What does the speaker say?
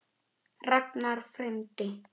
Ragnar frændi.